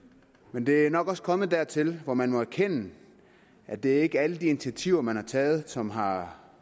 men det er nok også kommet dertil hvor man må erkende at det ikke er alle de initiativer man har taget som har